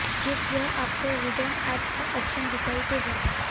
फिर यहां आपको हिडन ऐप्स का ऑप्शन दिखाई देगा